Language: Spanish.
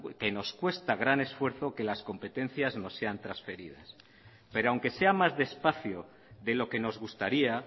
que nos cuesta gran esfuerzo que las competencias nos sean transferidas pero aunque sea más despacio de lo que nos gustaría